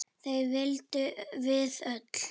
Það vitum við öll.